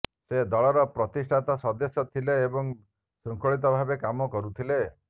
ସେ ଦଳର ପ୍ରତିଷ୍ଠାତା ସଦସ୍ୟ ଥିଲେ ଏବଂ ଶୃଙ୍ଖଳିତ ଭାବେ କାମ କରୁଥିଲେ